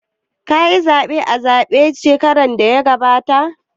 Ka yi zaɓe a zaɓen shekarar da ta gabata?